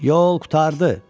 “Yol qurtardı!”